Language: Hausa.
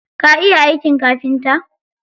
Ka iya aikin kafinta?